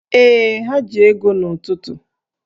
Ee, ha ji ego n'ụtụtụ